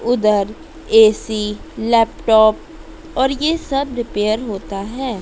उधर AC laptop और ये सब रिपेयर होता है।